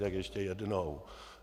Tak ještě jednou.